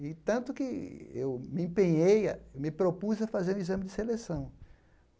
E tanto que eu me empenhei a me propus a fazer o exame de seleção.